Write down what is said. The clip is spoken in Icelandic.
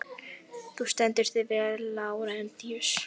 Þú stendur þig vel, Lárentíus!